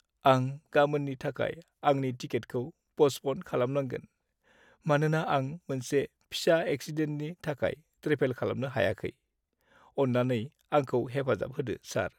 आं गामोननि थाखाय आंनि टिकेटखौ पस्टप'न खालामनांगोन, मानोना आं मोनसे फिसा एक्सिडेन्टनि थाखाय ट्रेभेल खालामनो हायाखै। अन्नानै आंखौ हेफाजाब होदो, सार।